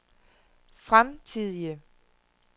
fremtidige